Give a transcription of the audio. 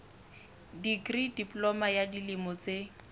dikri diploma ya dilemo tse